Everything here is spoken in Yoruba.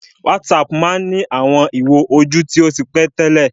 WhatsApp má ń ní àwọn ìwo ojú tí ó ti pẹ́ tẹ́lẹ̀